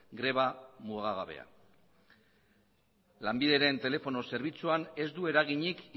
greba mugagabea lanbideren telefono zerbitzuan ez du eraginik